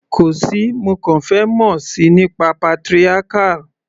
Kò sí, mo kàn fẹ́ mọ̀ síi nípa patriarchal.